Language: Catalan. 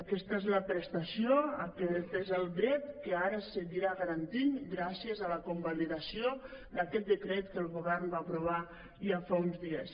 aquesta és la prestació aquest és el dret que ara es seguirà garantint gràcies a la convalidació d’aquest decret que el govern va aprovar ja fa uns dies